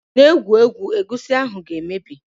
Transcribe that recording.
Just de play, the egusi soup wi soon spoil